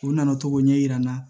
U nana to k'o ɲɛ yira n na